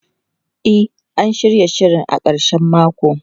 E, an shirya shirin a karshen mako.